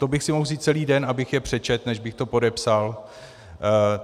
To bych si mohl vzít celý den, abych je přečetl, než bych to podepsal.